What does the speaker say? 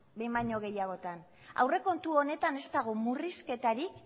behin baino gehiagotan aurrekontu honetan ez dago murrizketarik